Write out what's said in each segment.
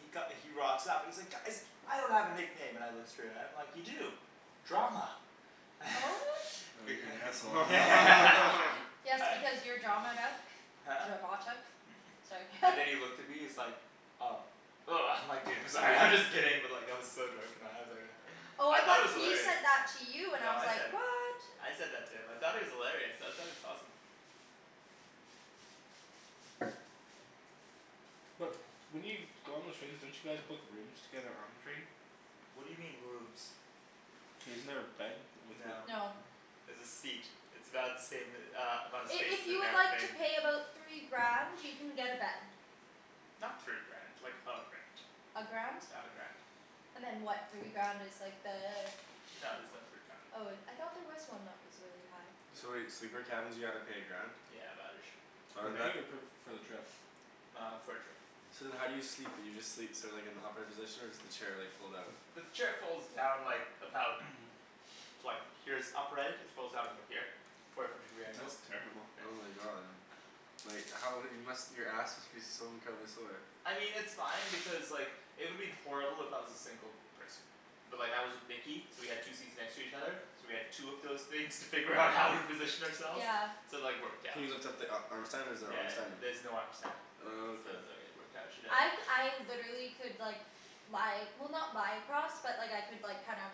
he co- he rocks up and he's like "Guys!" "I don't have a nickname." And I look straight at him, I'm like, "You do. Drama." Oh you're an asshole. Yes because you're drama, right? Huh? Dramatic? It's like And then he looked at me, he's like, "Oh." Woah I'm like, "Dude I'm sorry, I'm just kidding." But like I was so drunk and high I was like uh Oh I I thought thought it was he hilarious. said that to you, and I No was I like, said it. what? I said that to him. I thought it was hilarious, I thought it was awesome. But, when you go on the trains don't you guys book rooms together on the train? What do you mean rooms? Isn't there a bed? No. No. There's a seat. It's about the same uh amount of I- space if as an you would like to airplane. pay about three grand, you can get a bed. Not three grand. Like a grand. A grand? Yeah, a grand. And then what, three grand is like the No there's no three grand. Oh it, I thought there was one that was really high. So wait, sleeper cabins you gotta pay a grand? Yeah about ish. Oh Per and that night or per, for the trip? Uh for the trip. So then how do you sleep, do you just sleep so like in the upright position? Or does the chair like fold out? The chair folds down like, about like, here's upright, it folds out about here. Forty five degree angles. That's terrible. Oh my god. Like how, you must, your ass must be so incredibly sore. I mean it's fine because like, it would have been horrible if I was a single person. But like I was with Nikki, so we had two seats next to each other. So we had two of those things to figure out how to position ourselves. Yeah. So like worked Can out. you lift up the a- arm stand, or is there an Yeah arm stand? there's no arm stand. Oh, So okay. it was like it worked out, I c- I literally could like lie, well not lie across, but like I could like kinda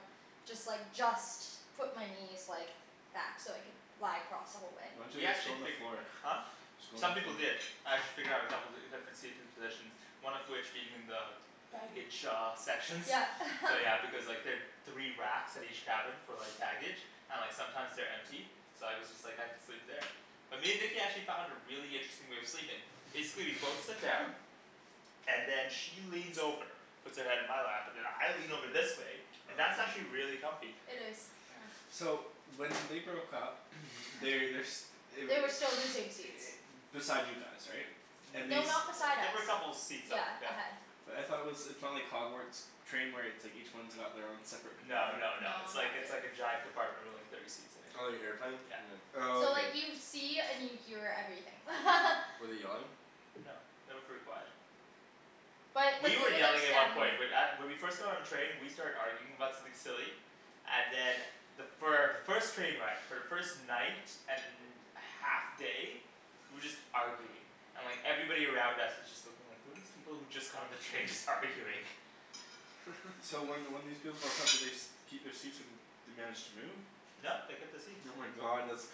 just like, just put my knees like back so I could lie across the whole way. Why didn't We you just actually go on the figu- floor? Huh? Just go on the Some people floor. did. I had to figure out a couple, different seating positions. One of which being in the baggage shaw sections. Yeah. So yeah because like there three racks at each cabin for like baggage and like sometimes they're empty. So I was just like, I could sleep there. But me and Nikki actually found a really interesting way of sleeping. Basically we'd both sit down. And then she leans over. Puts her head in my lap. And then I lean over this way. And that's actually really comfy. It is, yeah. So when they broke up, they, they're s- They were They were still in the same seats. beside you guys, right? And they No, s- N- not beside They us. were a couple of seats up, Yeah. yeah. Ahead. But I thought it was, it's not like Hogwarts train where it's like each one's got their own separate No compartment? no no, No, it's like not it's like a really. giant compartment with like thirty seats in it. Oh you airplaned? Yeah. Oh So okay. like you see and you hear everything. Were they yelling? No. They were pretty quiet. But, but You were they were like yelling at one standing point, but at- when we first got on the train we started arguing about something silly. And then the fir- the first train ride, for the first night and half day we were just arguing. And like, everybody around us was just looking like, who are these people who just got on the train just arguing? So when when these people broke up, did they st- keep their seats or they managed to move? No they kept the seats. Oh my god, that's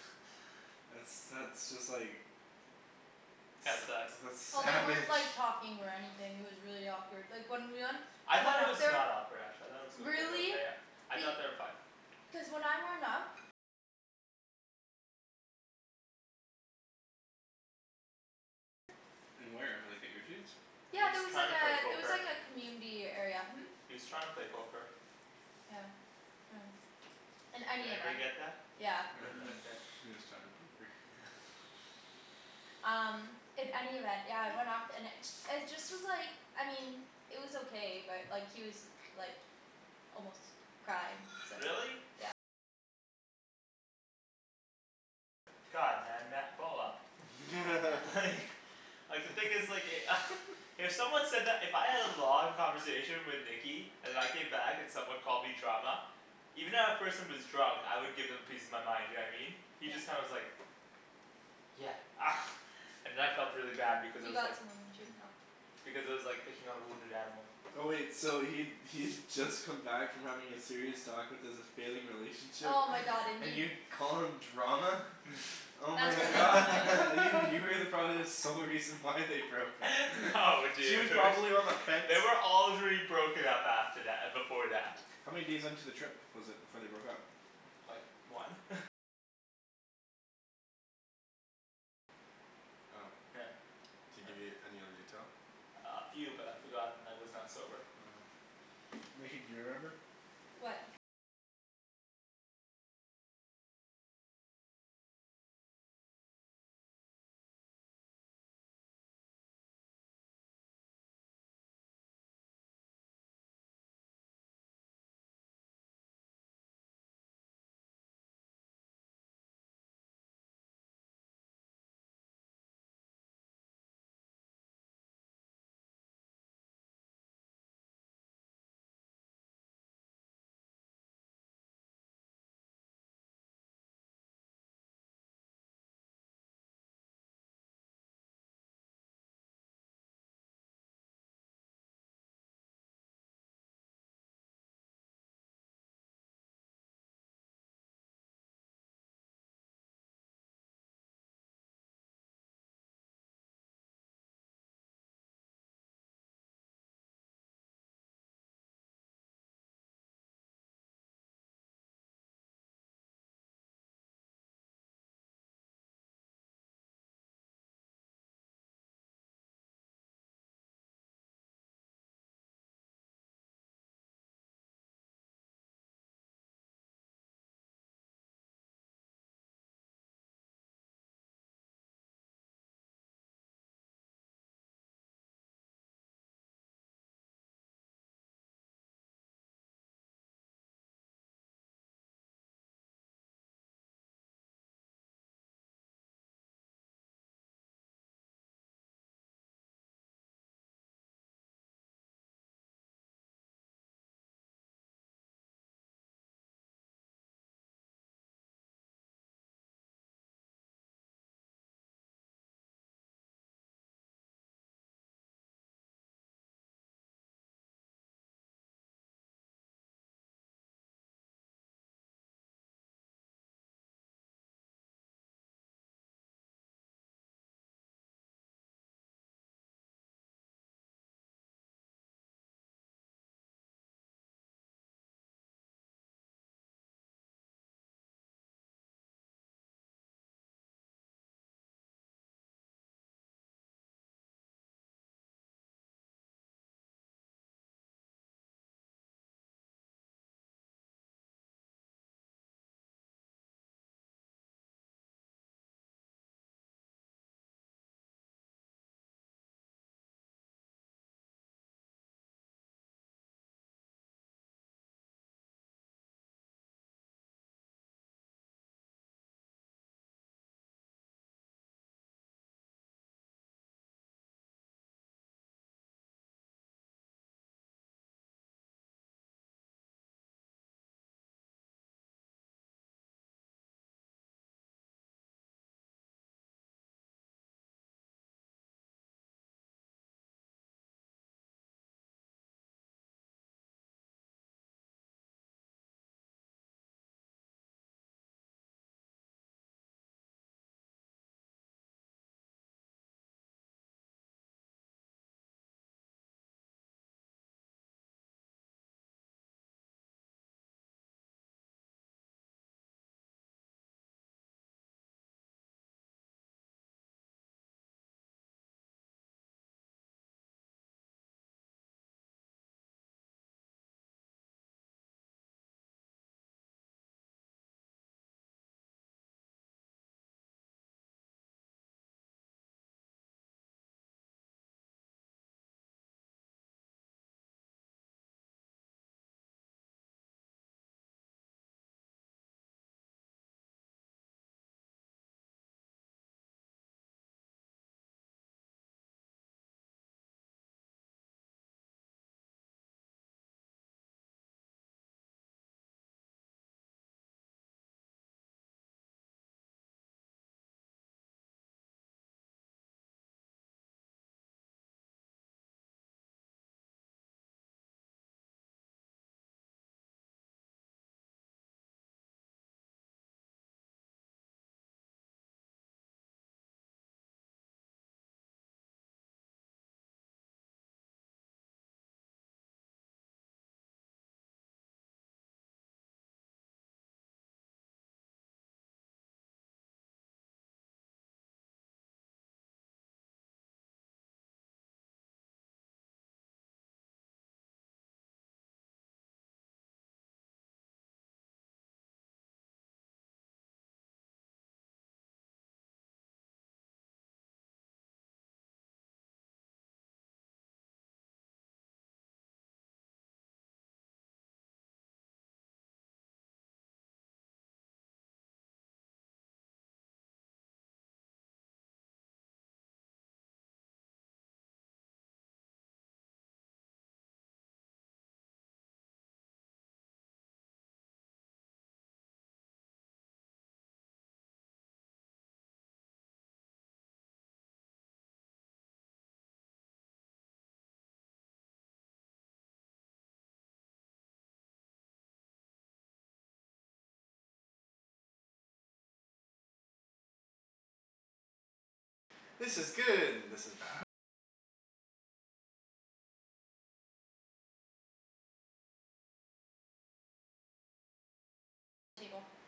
that's that's just like That sucks. that's Well, they savage. weren't like talking or anything, it was really awkward. Like when we went I thought it was not awkward actually. I thought it was mid- Really? okay. I Be- thought they were fine. Cuz when I went up In where, like at your seats? He Yeah was there was trying like to a, play there was poker. like a community area, hm? He was trying to play poker. Yeah. Yeah. In Did any everybody event. get that? Yeah. You got that up there. He was trying to poke her. Um, in any event, yeah it went off, and it ju- it just was like, I mean it was okay but like he was like almost crying, so Really? God, man, ma- ball up. Like Like the thing is like e- If someone said that, if I had a long conversation with Nikki and I came back and someone called me drama even if that person was drunk, I would give them a piece of my mind, you know what I mean? He just kinda was like "Yeah." And then I felt really bad because I You was got like some on your tooth now. because it was like picking on a wounded animal. Oh wait, so he'd he'd just come back from having a serious talk with his failing relationship, Oh my god and and you you call him drama? Oh That's my really not god. nice. You were probably the sole reason why they broke up. No She was dude. probably on the fence. They were already broken up after tha- before that. How many days into the trip was it before they broke up? Like one? Oh. Yeah. Did he give you any other detail? Uh a few but I forgot and I was not sober. Oh. Nikki, do you remember? What?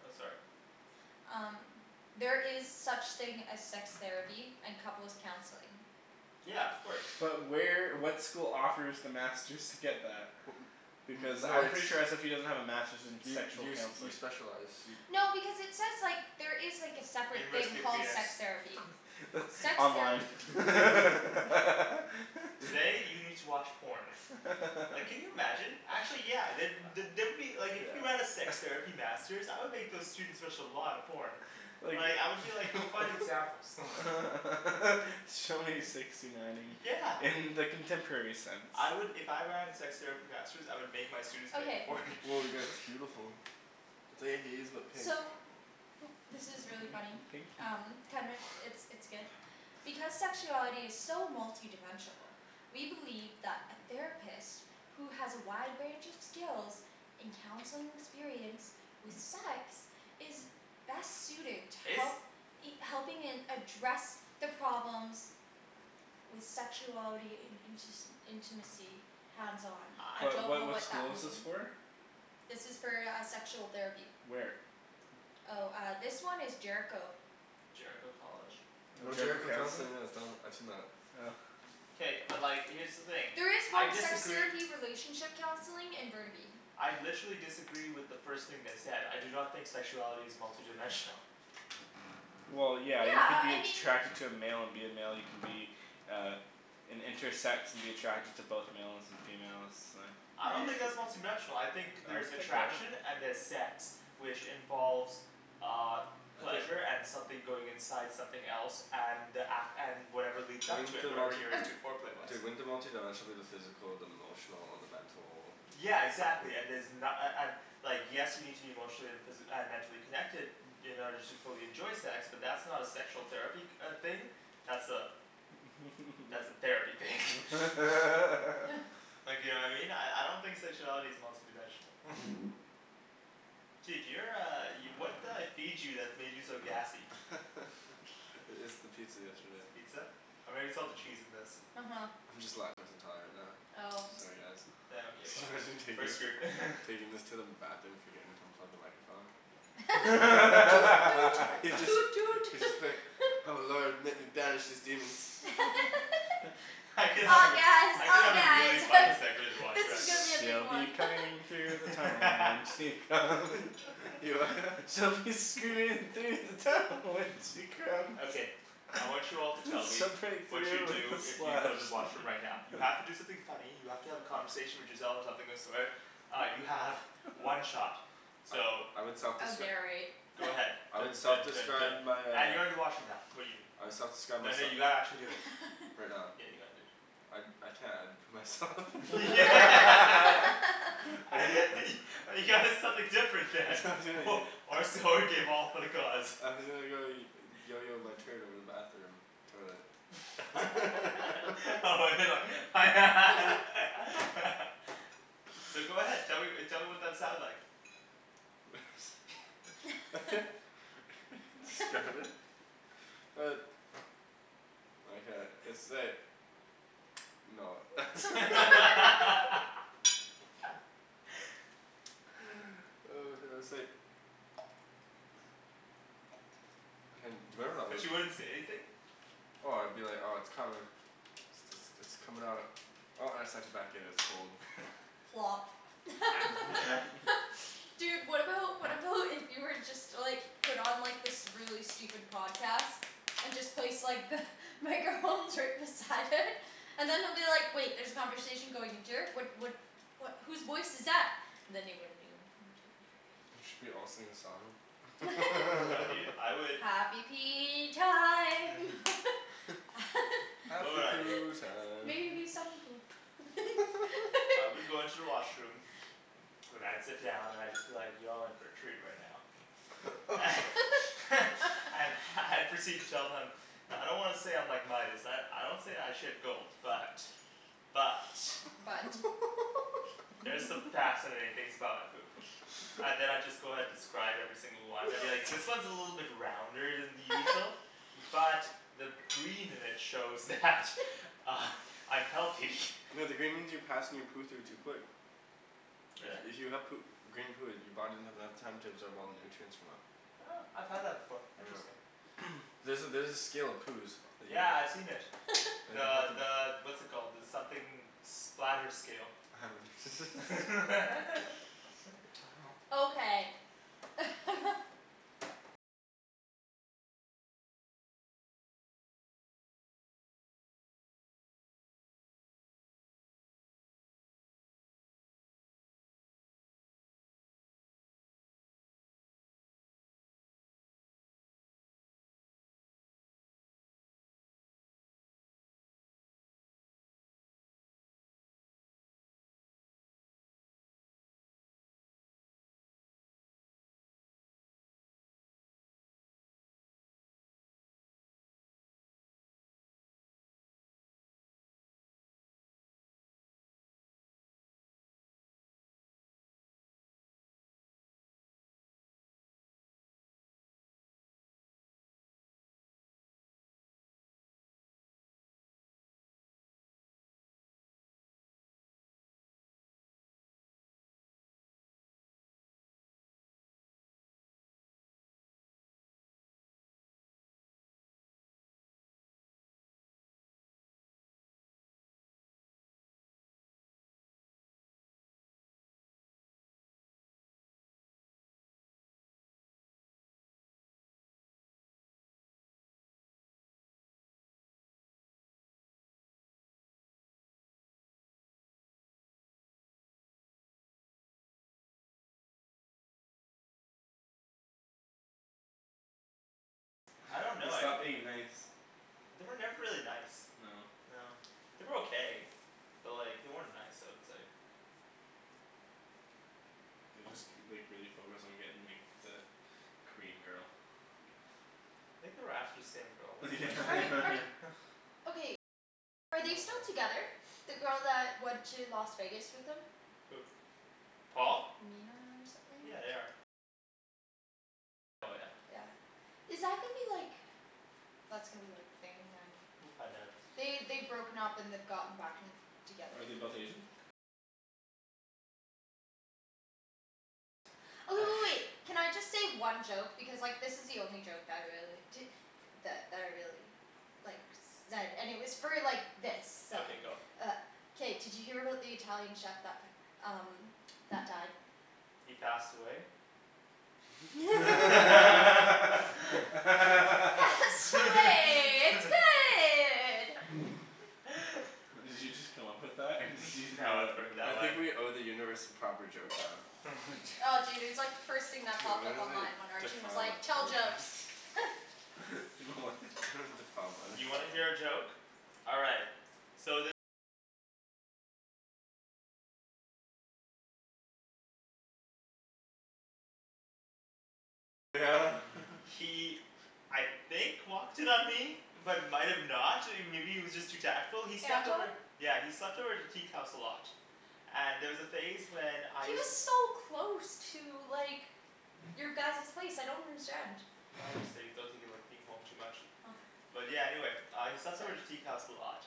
Oh sorry. Um There is such thing as sex therapy and couples' counseling. Yeah, of course. But where, what school offers the masters to get that? Because No, I'm it's pretty sure SFU doesn't have a masters in You sexual you you counseling. specialize, you No, because it says like, there is like a separate thing University of called penis. sex therapy. Sex Online. therapy. Today you need to watch porn. Like can you imagine? Actually yeah, the- the- there would be, like if you have a sex Yeah. therapy masters, I would make those students watch a lot of porn. Like Like I would be like, go find examples. Show me sixty nineing Yeah. in the contemporary sense. I would, if I ran a sex therapy masters, I would make my students make a Okay. porn. Woah you guys, that's beautiful. pink. So this is really funny. Pink you. Um it's it's good. Because sexuality is so multidimensional we believe that a therapist who has a wide range of skills in counseling experience with sex is best suited to It's help helping in address the problems with sexuality in intis- intimacy. Hands on. I I What don't what know what what that school is this mean. for? This is for uh sexual therapy. Where? Oh uh this one is Jericho. Jericho College? No, Oh Jericho Jericho Counseling. Counseling, yeah it's done, I've seen that. Oh. K, but like here's the thing. There is I one sex disagree therapy relationship counseling in Burnaby. I literally disagree with the first thing they said. I do not think sexuality is multidimensional. Well yeah, Yeah you could uh be I mean attracted to a male and be a male, you can be uh an intersex and be attracted to both males and females, uh I don't think that's multidimensional. I think there's attraction and there's sex. Which involves uh Okay pleasure and something going inside something else, and ac- and whatever leads up to Wouldn't it, the whatever multi- you're into foreplay-wise. Dude, wouldn't the multidimensional be the physical, the emotional, and the mental Yeah exactly and there's na- a- an- Like yes you need to be emotionally and physi- uh mentally connected in order to fully enjoy sex, but that's not a sexual therapy uh thing. That's a that's a therapy thing. Like you know what I mean? I I don't think sexuality is multi dimensional. Dude you're uh, y- what did I feed you that made you so gassy? I- it's the pizza yesterday. Pizza? Or maybe it's all the cheese in this. Uh huh. I'm just lactose intolerant now. Oh. Sorry guys. Yeah okay fine, Imagine taking taking this to the bathroom forgetting to unplug the microphone. Toot toot toot toot. Just be like "Oh lord let me banish these demons." I could help Oh you. yes I could oh have a yeah really it's funny segment in the this washroom is actually. gonna be a big She'll be one. coming through the tunnel when she comes. She'll be screaming through the tunnel when she comes. Okay. I want you all to tell me Some break what you'd through do with a if you splash. go to the washroom right now. You have to do something funny, you have to have a conversation with yourself or something of the sort Uh you have one shot. So I would I would self-descri- narrate. Go ahead. I would Dun dun dun self-describe dun my uh and you're in the washroom now I would self-describe Then myse- you gotta actually do it. Right now? Yeah you gotta do it. I I can't, I'd put myself You gotta do something different then. Or so you gave all for the cause. my turn over the bathroom. Toilet. Oh but they're like So go ahead. Tell me tell me what that sounds like. It's Uh No. Hey, do you remember that But you one wouldn't say anything? Oh I'd be like, oh it's coming. It's it's it's coming out. Oh I have such a Plop. Dude, what about, what about if you were just to like put on this really stupid podcast? And just place like the microphones right beside it. And then they'll be like "Wait there's a conversation going into here, what what" "what, whose voice is that?" And then they wouldn't know. Should we all sing a song? No dude, I would Happy pee time. You know Happy what I'd do poo time. Maybe some poop. I would go into the washroom then I'd sit down and I'd just be like, "Y'all in for a treat right now." And I'd proceed to tell them "I don't wanna say I'm like Midas, I I don't say I shit gold. But, but, But there's some fascinating things about my poop. And then I'd just go ahead describe every single one, I'd be like "This one is a little bit rounder than the usual." "But the green in it shows that I'm healthy." No the green means you're passing your poo through too quick. Really? If you have poo- green poo, your body doesn't have enough time to absorb all the nutrients from it. Huh, I've had that before. Yeah. Interesting. There's a there's a scale of poos that you Yeah, I've seen c- it. The the what's it called, the something splatter scale. Okay. I don't They know, I'd stopped being nice. They were never really nice. No. No. They were okay. But like they weren't nice I would say. They just k- like really focused on getting like the Korean girl. Think they were after the same girl at one point. Are they still together? The girl that went to Las Vegas with them? Who? Paul? Mina or something? Yeah, they are. Yeah. Is that gonna be like That's gonna be like thing then. We'll find out. They, they'd broken up and they'd gotten back and together. Are they both Asian? Oh w- w- wait. Can I just say one joke? Because like this is the only joke that I really, di- that that I really like zed, and it was for like this, so Okay go. Uh K, did you hear about the Italian chef that p- um that died? He passed away? Pasta way. It's good! Did you just come up with that or did you just No, I've know heard that I one. think we owe the universe a proper joke now. Oh dude, it was like the first thing that Dude I'm popped up gonna like, online when Arjan was defile like, my "Tell jokes." You know what? Defile mine. You wanna hear a joke? All right. He I think walked in on me. But might have not. I mean maybe he was just too tactful. He slept Anton? over Yeah, he slept over at the teak house a lot. And there was a phase when I He used was to so close to like your guys's place, I don't understand. I just think, I don't think he liked being home too much. Oh. But yeah, anyway. He slept over at the teak house a lot.